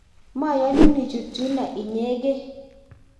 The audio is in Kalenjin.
mayonun ichut yuno inyegei